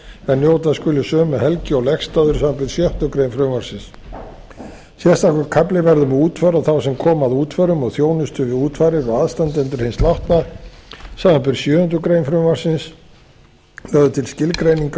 er njóta skuli sömu helgi og legstaður samanber sjöttu greinar frumvarpsins sérstakur kafli verður við útför og þá sem koma að útförum og þjónustu við útfarir og aðstandendur hins látna samanber sjöundu greinar frumvarps lögð er til skilgreining á